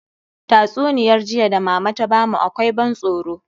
Tatsuniyar jiya da mama ta bamu akwai ban tsoro